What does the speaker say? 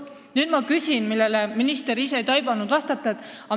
Nüüd ma küsingi, millal siis see haldusreform tuleb.